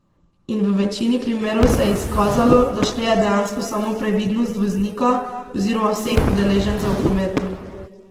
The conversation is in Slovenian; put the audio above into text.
In v večini primerov se je izkazalo, da šteje dejansko samo previdnost voznika oziroma vseh udeležencev v prometu.